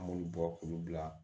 An b'olu bɔ k'olu bila